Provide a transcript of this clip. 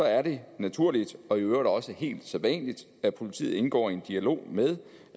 er det naturligt og i øvrigt også helt sædvanligt at politiet indgår i en dialog med